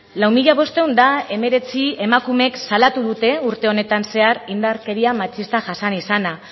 lau mila bostehun eta hemeretzi emakumeek salatu dute urte honetan zehar indarkeria matxista jasan izana